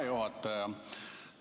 Hea juhataja!